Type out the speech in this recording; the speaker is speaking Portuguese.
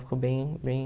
Ficou bem bem